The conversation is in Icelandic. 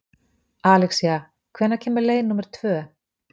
Alexía, hvenær kemur leið númer tvö?